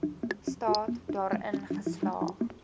staat daarin geslaag